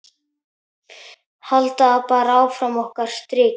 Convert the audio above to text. Halda bara áfram okkar striki.